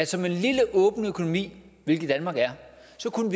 som en lille åben økonomi hvilket danmark er